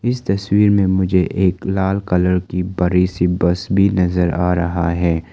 इस तस्वीर में मुझे एक लाल कलर की बड़ी सी बस भी नजर आ रहा है।